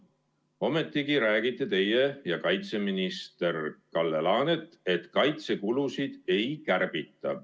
Ometigi räägite teie ja kaitseminister Kalle Laanet, et kaitsekulusid ei kärbita.